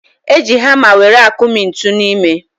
Eji hama were akụmi ntu n'ime